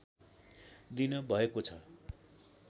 दिन भएको छ